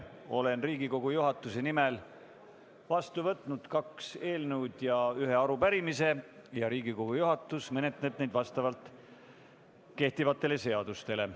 Olen Riigikogu juhatuse nimel vastu võtnud kaks eelnõu ja ühe arupärimise ja Riigikogu juhatus menetleb neid vastavalt kehtivatele seadustele.